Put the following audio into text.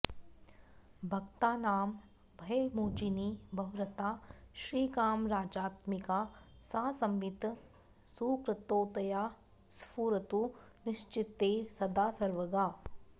भक्तानां भयमोचिनी भवरता श्रीकामराजात्मिका सा संवित् सुकृतोदया स्फुरतु नश्चित्ते सदा सर्वगा